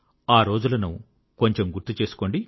ఆ రోజులను కొంచెం గుర్తు చేసుకోండి